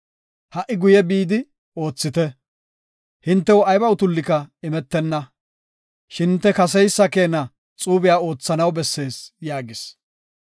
Ha77i guye bidi oothite. Hintew ayba utullika imetenna, shin hinte kaseysa keena xuube oothanaw bessees” yaagis.